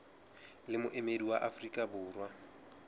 le moemedi wa afrika borwa